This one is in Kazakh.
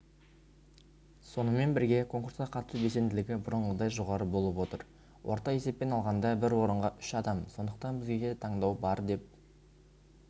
сонымен бірге конкурсқа қатысу белсенділігі бұрынғыдай жоғары болып отыр орта есеппен алғанда бір орынға үш адам сондықтан бізде таңдау бар деп